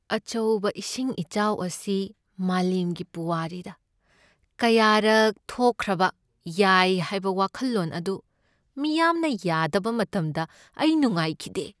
ꯑꯆꯧꯕ ꯏꯁꯤꯡ ꯏꯆꯥꯎ ꯑꯁꯤ ꯃꯥꯂꯦꯝꯒꯤ ꯄꯨꯋꯥꯔꯤꯗ ꯀꯌꯥꯔꯛ ꯊꯣꯛꯈ꯭ꯔꯕ ꯌꯥꯏ ꯍꯥꯏꯕ ꯋꯥꯈꯜꯂꯣꯟ ꯑꯗꯨ ꯃꯤꯌꯥꯝꯅ ꯌꯥꯗꯕ ꯃꯇꯝꯗ ꯑꯩ ꯅꯨꯡꯉꯥꯏꯈꯤꯗꯦ ꯫